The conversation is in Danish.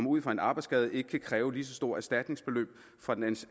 ud for en arbejdsskade ikke kan kræve lige så stort et erstatningsbeløb fra den